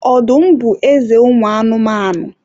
Ọdụm bụ eze ụmụ anụmanụ